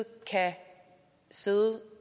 sige